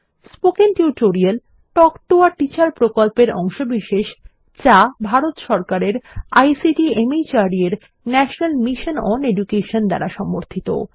spoken tutorial talk to a teacher প্রকল্পের অংশবিশেষ যা ভারত সরকারের আইসিটি মাহর্দ এর ন্যাশনাল মিশন ওন এডুকেশন দ্বারা সমর্থিত